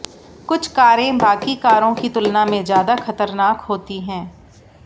कुछ कारें बाकी कारों की तुलना में ज्यादा खतरनाक होती हैं